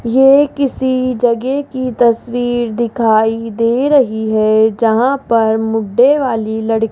ये किसी जगह की तस्वीर दिखाई दे रही है जहां पर मुड्डे वाली लड़ --